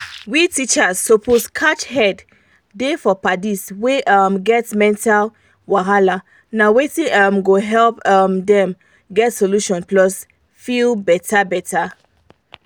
we teachers suppose catch head da for padis wey um get mental wahala na wetin um go help um them get solution plus feel better better